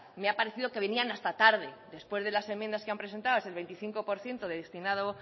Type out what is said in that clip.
me ha parecido que venían hasta tarde después de las enmiendas que han prestado el veinticinco por ciento destinado